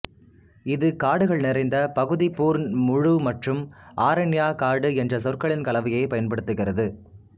இது காடுகள் நிறைந்த பகுதி பூர்ண் முழு மற்றும் ஆரண்யா காடு என்ற சொற்களின் கலவையைப் பயன்படுத்துகிறது